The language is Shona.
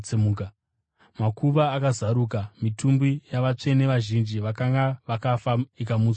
Makuva akazaruka, mitumbi yavatsvene vazhinji vakanga vakafa ikamutswa kuupenyu.